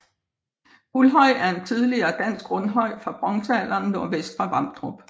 Guldhøj er en tidligere dansk rundhøj fra bronzealderen nordvest for Vamdrup